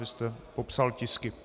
Vy jste popsal tisky...